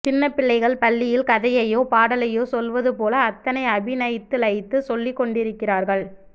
சின்னப்பிள்ளைகள் பள்ளியில் கதையையோ பாடலையோ சொல்லுவதுபோல அத்தனை அபிநயித்து லயித்து சொல்லிக்கொண்டிருக்கிறீர்கள்